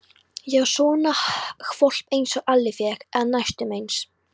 Já, svona hvolp einsog Alli fékk, eða næstum eins.